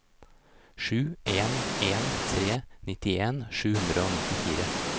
sju en en tre nittien sju hundre og nittifire